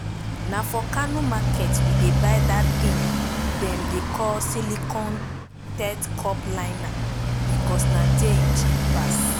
na for kano market we dey buy dat tin dem dey call silicone teat cup liner becos na there im cheap pass